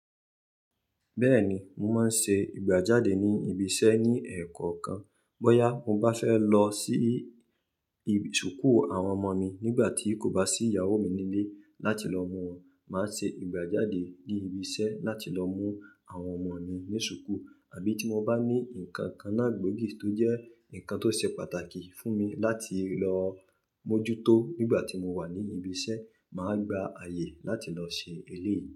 Bẹ́ẹ̀ni, mo máa ń ṣe ìgbà jáde ní ibi iṣẹ́ ní èèkàn kan. Bóyá mo bá fẹ́ lọ sí ìsùkú àwọn ọmọ mi nígbà tí kò bá sí ìyàwó mi nílé láti lọ mú wọn, màá ṣe ìgbà jáde ní ibi iṣẹ́ láti lọ mú àwọn ọmọ mi ní sùkú. Àbí tí mo bá ní nǹkan kan náà gbóògì tó jẹ́ nǹkan tó ṣe pàtàkì fún mi láti lọ mójútó nígbà tí mo wà ní ibi iṣẹ́, màá gba àyè láti lọ ṣe eléyìí.